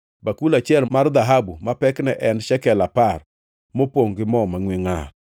bakul achiel mar dhahabu ma pekne ne en shekel apar, mopongʼ gi mo mangʼwe ngʼar;